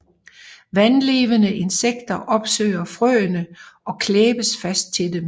Vandlevende insekter opsøger frøene og klæbes fast til dem